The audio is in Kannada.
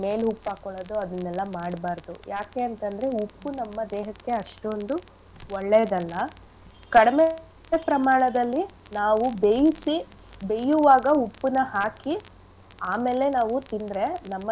ಮೇಲೆ ಉಪ್ಪ್ ಹಾಕೋಳೋದು ಅದನ್ನೆಲ್ಲ ಮಾಡ್ಬಾರ್ದು. ಯಾಕೆ ಅಂತ್ ಅಂದ್ರೆ ಉಪ್ಪು ನಮ್ಮ ದೇಹಕ್ಕೆ ಅಷ್ಟೊಂದು ಒಳ್ಳೇದಲ್ಲ . ಕಡ್ಮೇ ಪ್ರಮಾಣದಲ್ಲಿ ನಾವು ಬೇಯಿಸಿ ಬೇಯುವಾಗ ಉಪ್ಪನ್ನ ಹಾಕಿ ಆಮೇಲೆ ನಾವು ತಿಂದ್ರೆ ನಮ್ಮ.